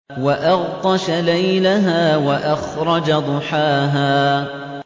وَأَغْطَشَ لَيْلَهَا وَأَخْرَجَ ضُحَاهَا